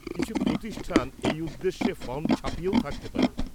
কিছু প্রতিষ্ঠান এই উদ্দেশ্যে ফর্ম ছাপিয়েও থাকতে পারে।